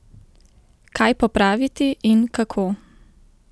Kaj popraviti in kako?